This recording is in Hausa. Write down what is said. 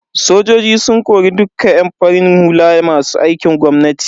Sojojin sun kori dukka yan farin hula masu aikin gwamnati.